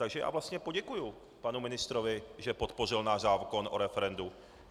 Takže já vlastně poděkuji panu ministrovi, že podpořil náš zákon o referendu.